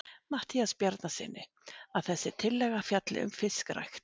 Matthíasi Bjarnasyni, að þessi tillaga fjalli um fiskrækt.